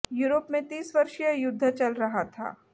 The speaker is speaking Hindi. यूरोप में तीस वर्षीय युद्ध चल रहा था